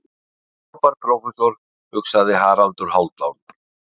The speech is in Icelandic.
Frábær prófessor, hugsaði Haraldur Hálfdán.